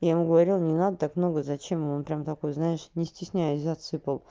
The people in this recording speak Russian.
я ему говорила не надо так много зачем он прям такой знаешь не стесняясь засыпал